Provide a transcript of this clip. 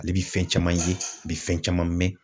Ale bi fɛn caman ye a bi fɛn caman mɛn